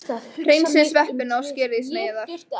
Hreinsið sveppina og skerið í sneiðar.